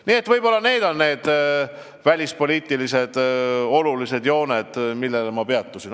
Need kõik ongi meie välispoliitika olulised jooned.